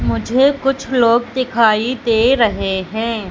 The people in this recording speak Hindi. मुझे कुछ लोग दिखाई दे रहे है।